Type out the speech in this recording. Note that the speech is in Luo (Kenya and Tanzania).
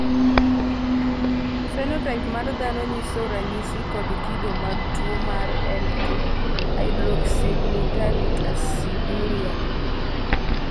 phenotype mar dhano nyiso ranyisi kod kido mag tuwo mar L 2 hydroxyglutaric aciduria.